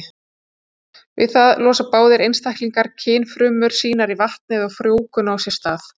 Við það losa báðir einstaklingar kynfrumur sínar í vatnið og frjóvgun á sér stað.